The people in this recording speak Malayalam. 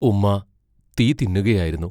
ഉമ്മാ തീ തിന്നുകയായിരുന്നു.